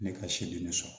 Ne ka siri sɔrɔ